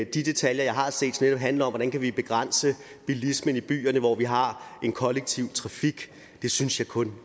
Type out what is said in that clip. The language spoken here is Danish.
de detaljer jeg har set handler om hvordan vi kan begrænse bilismen i byerne hvor vi har en kollektiv trafik det synes jeg kun